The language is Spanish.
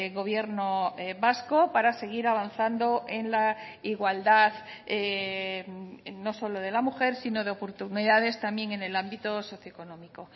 gobierno vasco para seguir avanzando en la igualdad no solo de la mujer sino de oportunidades también en el ámbito socio económico